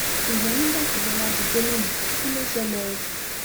ṣùgbọn nígbà tí bọlá di gómìnà kí ló ṣẹlẹ o